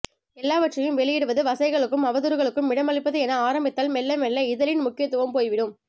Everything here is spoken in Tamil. எல்லாவற்றையும் வெளியிடுவது வசைகளுக்கும் அவதூறுகளுக்கும் இடமளிப்பது என ஆரம்பித்தால் மெல்லமெல்ல இதழின் முக்கியத்துவம் போய்விடும்